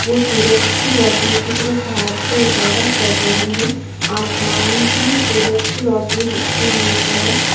वो सूरज की रोशनी की तरफ हाथ से इशारा कर रहे हैं आसमान में सूरज की रोशनी बिखरी हुई है।